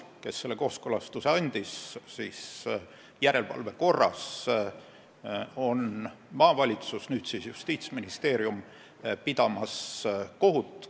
Selle kooskõlastuse andis järelevalve korras maavalitsus ja nüüd siis käib Justiitsministeerium kohut.